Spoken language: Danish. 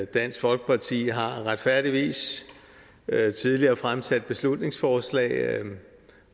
dansk folkeparti har retfærdigvis tidligere fremsat beslutningsforslag